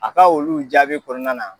A ka olu jaabi kɔɔna na